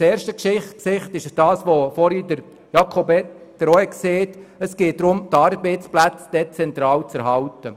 Beim ersten Gesicht geht es darum, die Arbeitsplätze dezentral zu erhalten.